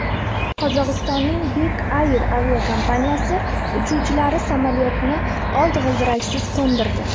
Qozog‘istonning Bek Air aviakompaniyasi uchuvchilari samolyotni old g‘ildiraksiz qo‘ndirdi .